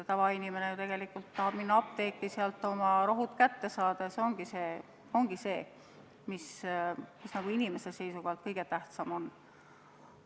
Tavainimene ju tegelikult tahab minna apteeki ja sealt oma rohud kätte saada – see ongi see, mis inimese seisukohalt kõige tähtsam on.